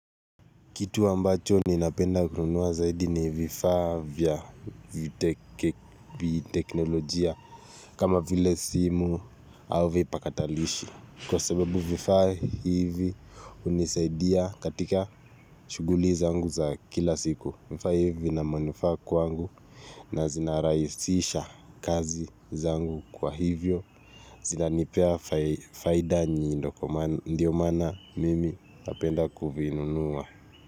Kitu ambacho ni napenda kununua zaidi ni vifa vya teknolojia kama vile simu au vipakatalishi. Kwa sababu vifaa hivi hunisaidia katika shughuli zangu za kila siku vifaa hivi na manufaa kwangu na zinarahisisha kazi zangu kwa hivyo zinanipea faida ndio maana mimi napenda kuvinunua.